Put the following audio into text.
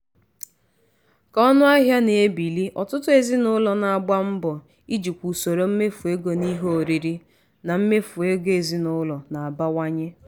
ka ọnụahịa na-ebili ọtụtụ ezinụlọ na-agba mbọ ijikwa usoro mmefu ego n'ihe oriri na mmefu ego ezinụlọ na-abawanye.